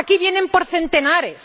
Aquí vienen por centenares.